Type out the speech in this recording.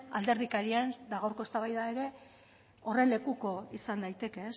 alderdikerien eta gaurko eztabaida ere horren lekuko izan daiteke